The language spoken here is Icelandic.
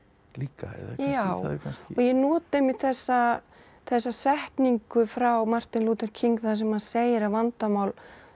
líka já og ég nota einmitt þessa þessa setningu frá Martin Luther King þar sem hann segir að vandamál